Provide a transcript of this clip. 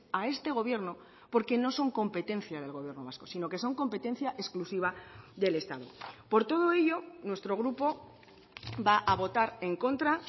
a este gobierno porque no son competencia del gobierno vasco sino que son competencia exclusiva del estado por todo ello nuestro grupo va a votar en contra